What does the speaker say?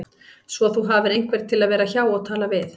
Svo þú hafir einhvern til að vera hjá og tala við